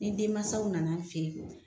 Ni denmansaw nana an fɛ yen